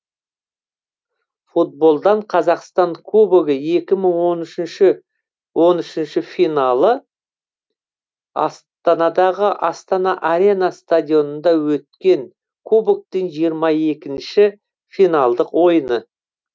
футболдан қазақстан кубогы екі мың он үшінші финалы астанадағы астана арена стадионында өткен кубоктың жиырма екінші финалдық ойыны